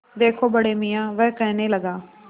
देखो बड़े मियाँ वह कहने लगा